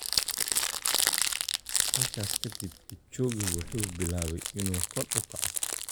"Halkaas kadib, Kipchoge wuxuu bilaabay inuu kor u kaco.